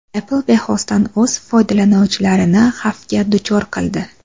Apple bexosdan o‘z foydalanuvchilarini xavfga duchor qildi.